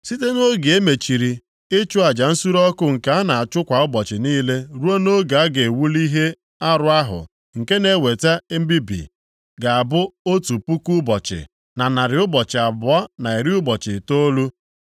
“Site nʼoge e mechiri ịchụ aja nsure ọkụ nke a na-achụ kwa ụbọchị niile ruo nʼoge a ga-ewuli ihe arụ ahụ nke na-eweta mbibi, ga-abụ otu puku ụbọchị, na narị ụbọchị abụọ na iri ụbọchị itoolu. (1,290)